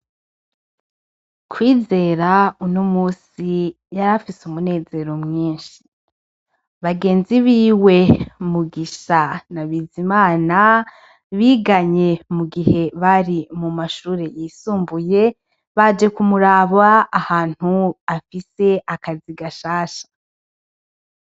Kwizera uno musi yarafise umunezero mwinshi . Bagenzi biwe Mugisha na Bizimana biganye mu gihe bari mu mashure yisumbuye baje kumuraba ahantu afise akazi gashasha.